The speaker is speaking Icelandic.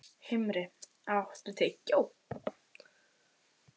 Himri, áttu tyggjó?